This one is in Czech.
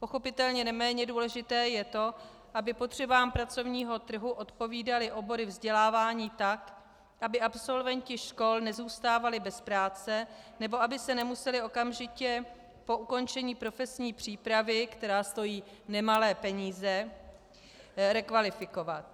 Pochopitelně neméně důležité je to, aby potřebám pracovního trhu odpovídaly obory vzdělávání tak, aby absolventi škol nezůstávali bez práce nebo aby se nemuseli okamžitě po ukončení profesní přípravy, která stojí nemalé peníze, rekvalifikovat.